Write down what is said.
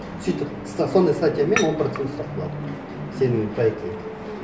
сөйтіп сондай статьямен он процент ұстап қалады сенің проектіңнен